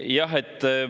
Jah!